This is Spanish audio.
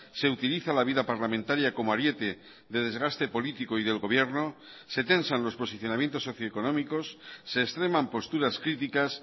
se utiliza la vida parlamentaria como ariete de desgaste político y del gobierno se tensan los posicionamientos socioeconómicos se extreman posturas críticas